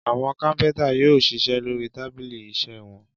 Àwọn kápẹ́ńtà yóò ṣiṣẹ́ lórí tábìlì iṣẹ́ wọn.